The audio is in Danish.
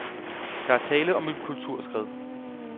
Der er tale om et kulturskred.